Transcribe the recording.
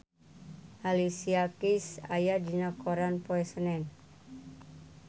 Alicia Keys aya dina koran poe Senen